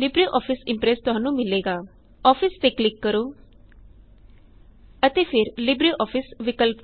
LibreOffice Impress ਤੁਹਾਨੂੰ ਮਿਲੇਗਾ office ਤੇ ਕਲਿਕ ਕਰੋ ਅਤੇ ਫਿਰ ਲਿਬਰਿਓਫਿਸ ਵਿਕਲਪ ਤੇ